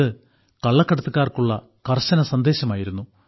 ഇത് കള്ളക്കടത്തുകാർക്കുള്ള കർശന സന്ദേശമായിരുന്നു